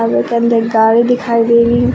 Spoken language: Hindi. के अंदर एक गाड़ी दिखाई दे रही--